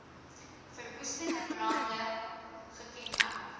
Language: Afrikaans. verwoestende brande gekenmerk